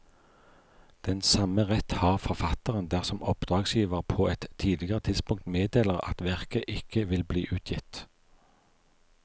Den samme rett har forfatteren dersom oppdragsgiver på et tidligere tidspunkt meddeler at verket ikke vil bli utgitt.